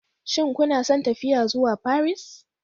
Shin kuna son tafiya zuwa Paris?